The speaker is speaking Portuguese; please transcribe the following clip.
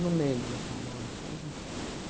lembro agora. Faz um